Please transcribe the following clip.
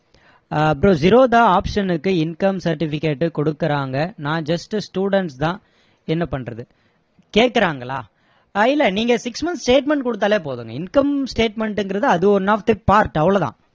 bro Zerodha auction க்கு income certificate கொடுக்கிறாங்க நான் just student தான் என்ன பண்றது கேக்குறாங்களா இல்ல நீங்க six month statement கொடுத்தாலே போதுமே income statement ங்கிறது அது one of the part அவ்ளோதான்